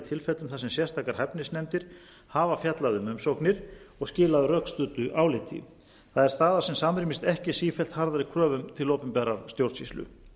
tilfellum þar sem sérstakar hæfnisnefndir hafa fjallað um umsóknir og skilað rökstuddu áliti það er staða sem samrýmist ekki sífellt harðari kröfum til opinberrar stjórnsýslu